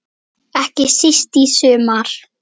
Ekki síst í sumar.